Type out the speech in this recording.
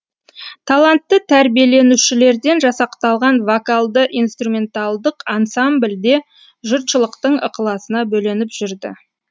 талантты тәрбиеленушілерден жасақталған вокалды инструменталдық ансамбль де жұртшылықтың ықыласына бөленіп жүрді